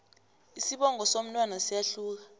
isibongo somntwana siyahluka